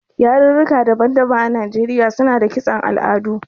Yarurruka daban-daban a Najeriya suna da kiston al'adu.